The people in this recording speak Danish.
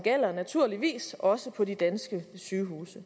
naturligvis også gælder på de danske sygehuse det